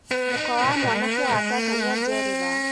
mũka wa mwanake wa tata nĩajerera